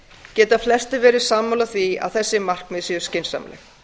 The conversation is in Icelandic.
geta flestir verið sammála því að þessi markmið séu skynsamleg